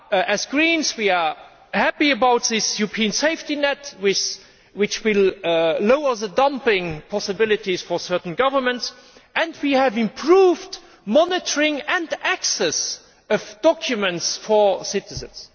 As Greens, we are happy with this European safety net, which will reduce dumping possibilities for certain governments, and we have improved monitoring and access of documents for citizens.